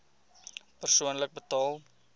persoonlik betaal